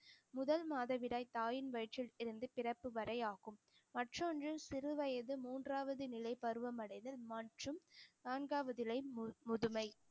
முதல் மாதவிடாய் தாயின் வயிற்றில் இருந்து பிறப்பு வரை ஆகும் மற்றொன்று சிறு வயசு மூன்றாவது நிலை பருவம் அடைதல் மற்றும் நான்காவது இலை மு~ முதுமை